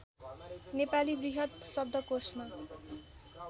नेपाली बृहत् शब्दकोशमा